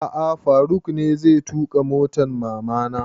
A'a faruk ne zai tuƙa motan mama na